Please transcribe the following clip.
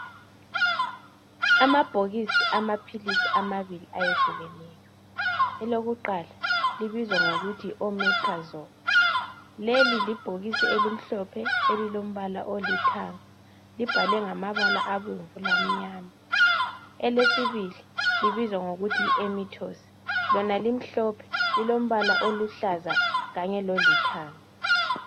Amabhokisi amaphilisi amabili ayehlukeneyo. Elokuqala libizwa ngokuthi yi"omeprazole",leli libhokisi elimhlophe elilombala olithanga. Libhalwe ngamabala abomvu lamnyama .Elesibili libizwa ngokuthi yi "emitoss",lona limhlophe. Lilombala oluhlaza kanye lolithanga.